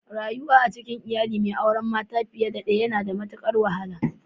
Rayuwa a cikin iyali mai auren mata fiye da daya yana da matukar wahala.